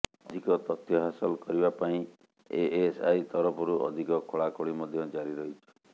ଅଧିକ ତଥ୍ୟ ହାସଲ କରିବା ପାଇଁ ଏଏସଆଇ ତରଫରୁ ଅଧିକ ଖୋଳାଖୋଳି ମଧ୍ୟ ଜାରି ରହିଛି